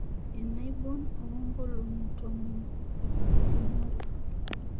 enaibon oonkolong'i tomon epartimore